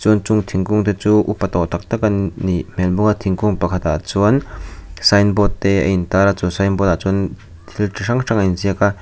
chuan chung thingkung te chu upa tawh tak tak an nih hmel bawk a thingkung pakhat ah chuan sign board te a intar a chu sign board ah chuan thil chi hrang hrang a in ziak a.